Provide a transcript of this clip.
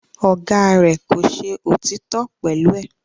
Ọ̀gá rẹ̀ kò ṣe òtítọ́ pẹ̀lú ẹ̀